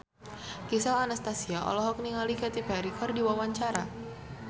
Gisel Anastasia olohok ningali Katy Perry keur diwawancara